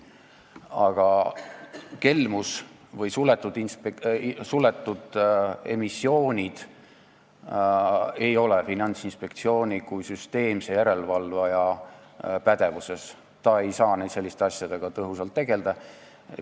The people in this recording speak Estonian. Aga kelmus või suletud emissioonid ei ole Finantsinspektsiooni kui süsteemse järelevalvaja pädevuses, ta ei saa selliste asjadega tõhusalt tegelda.